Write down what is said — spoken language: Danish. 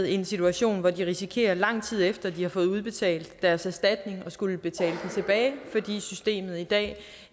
i en situation hvor de risikerer lang tid efter de har fået udbetalt deres erstatning at skulle betale den tilbage fordi systemet i dag